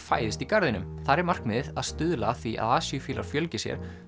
fæðist í garðinum þar er markmiðið að stuðla að því að fjölgi sér